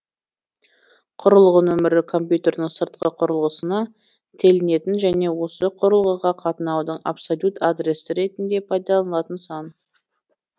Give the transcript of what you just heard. құрылғы нөмірі компьютердің сыртқы қүрылғысына телінетін және осы құрылғыға қатынаудың абсолют адресі ретінде пайдаланылатын сан